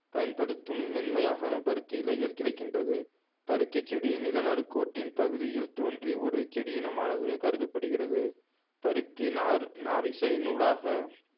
பயன்படுத்தும் மென்மையாக பருத்தி இழைகள் கிடைக்கின்றது பருத்திச் செடி நில நடுக்கோட்டின் பகுதியில் தோன்றி ஒரு செடியினமானது கருதப் படுகிறது பருத்தி நார் நாரிசை நூலாக